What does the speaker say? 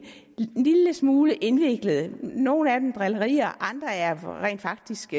lille smule indviklede nogle af dem er drillerier og andre er rent faktisk